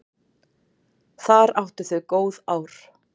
Þar áttu þau góð ár.